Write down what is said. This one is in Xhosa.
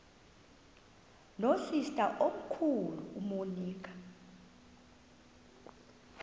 nosister omkhulu umonica